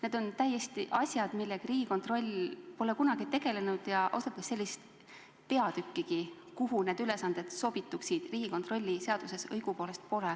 Need on asjad, millega Riigikontroll pole kunagi tegelenud ja sellist peatükkigi, kuhu need ülesanded sobituksid, Riigikontrolli seaduses seni õigupoolest pole.